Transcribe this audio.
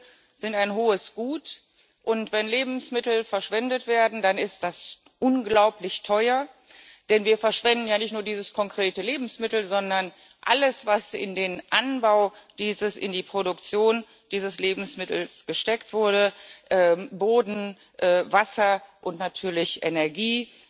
Lebensmittel sind ein hohes Gut, und wenn Lebensmittel verschwendet werden, dann ist das unglaublich teuer, denn wir verschwenden ja nicht nur ein konkretes Lebensmittel, sondern alles, was in den Anbau, in die Produktion dieses Lebensmittels gesteckt wurde Boden, Wasser und natürlich Energie,